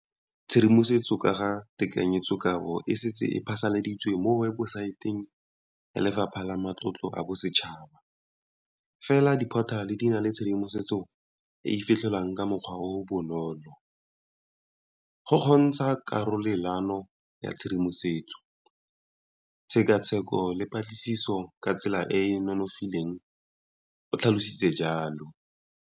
Tshedimosetso ka ga tekanyetsokabo e setse e phasaladitswe mo webosaeteng ya Lefapha la Matlotlo a Bosetšhaba, fela diphothale di na le tshedimosetso e e fitlhelelwang ka mokgwa o o bonolo, go kgontsha karolelano ya tshedimosetso, tshekatsheko le patlisiso ka tsela e e nonofileng, o tlhalositse jalo.